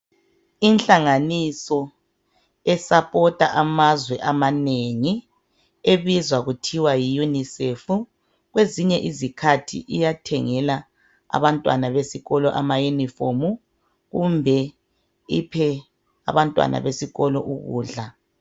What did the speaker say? Inhlanganiso e supporter amazwe amanengi ebizwa kuthiwa yi unicef kwezinye izikhathi iyathengela abantwana besikolo ama uniform kumbe iphe abantwana besikolo ukudla.